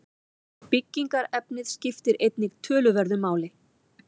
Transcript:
Byggingarefnið skiptir einnig töluverðu máli.